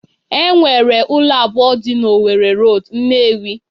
Enwere ụlọ abụọ dị na Owerri Road, Nnewi